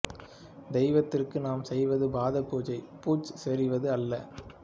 தெய்வத்திற்கு நாம் செய்வது பாத பூஜை பூச் சொரிவது அல்ல